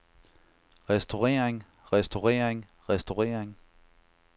restaurering restaurering restaurering